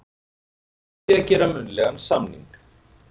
með því að gera munnlegan samning.